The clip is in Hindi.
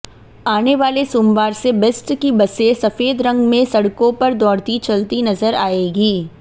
आनेवाले सोमवार से बेस्ट की बसें सफेद रंग में सड़कों पर दौड़ती चलती नजर आएंगी